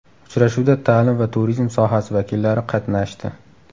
Uchrashuvda ta’lim va turizm sohasi vakillari qatnashdi.